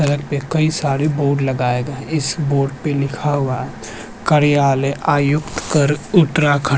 सड़क पे कई सारे बोर्ड लगाए गए हैं इस बोर्ड पे लिखा हुआ है कार्यलय आयुक्त कर उतराखंड ।